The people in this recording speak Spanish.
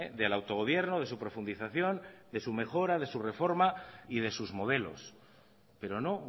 del autogobierno de su profundización de su mejora de su reforma y de sus modelos pero no